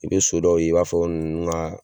I be so dɔw ye i b'a fɔ ninnu ga